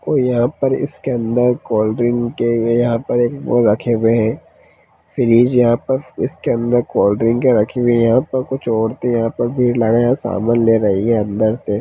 और यहां पर इसके अंदर कोल्ड्रिंक किए हुए यहां पर वो रखे हुए है फ्रिज है यहां पर इसके अंदर कोल्ड्रिंक रखी हुई है यहां पर कुछ औरते यहां पर भीड़ लगाए समान ले रही है अंदर से।